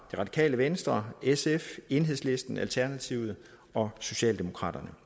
radikale venstre sf enhedslisten alternativet og socialdemokraterne